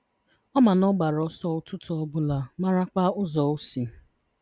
Ọ ma na ọ gbara ọsọ ụtụtụ Obụla marakwa ụzọ osi.